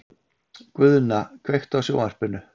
Guðna, kveiktu á sjónvarpinu.